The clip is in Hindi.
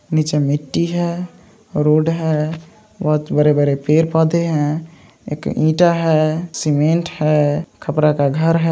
निचे मिट्टी है। रोड है। बहुत बड़े-बड़े पेड़-पौधे है। एक ईटा है। सीमेंट और खपड़ा का घर है।